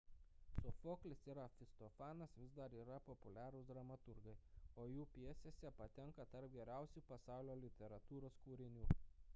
sofoklis ir aristofanas vis dar yra populiarūs dramaturgai o jų pjesės patenka tarp geriausių pasaulio literatūros kūrinių